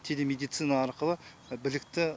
телемедицина арқылы білікті